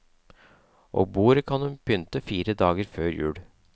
Og bordet kan hun pynte fire dager før jul.